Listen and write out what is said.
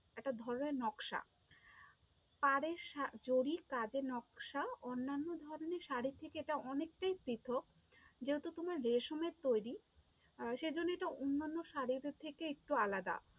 একটা ধর্মের নকশা, পাড়ের জরির কাজে নকশা, অন্যান্য ধরণের শাড়ির থেকে এটা অনেকটাই পৃথক যেহেতু তোমার রেশমের তৈরী আহ সেই জন্যে এটা অন্যান্য শাড়িদের থেকে একটু আলাদা।